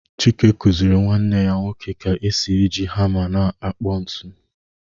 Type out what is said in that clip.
Chike kuziri nwanne ya nwoke ka esi eji hama na-akpụ ntu